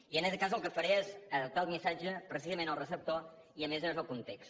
i en aquest cas el que faré és adaptar el missatge precisament al receptor i a més a més al context